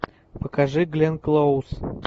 покажи гленн клоуз